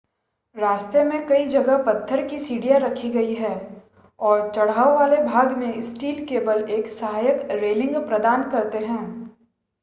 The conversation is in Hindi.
रास्ते में कई जगह पत्थर की सीढ़ियां रखी गई हैं और चढ़ाव वाले भागों में स्टील केबल एक सहायक रेलिंग प्रदान करते हैं